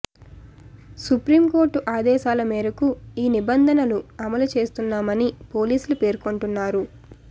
supreme court ఆదేశాల మేరకు ఈ నిబంధనలు అమలు చేస్తున్నామని పోలీసులు పేర్కొంటున్నారు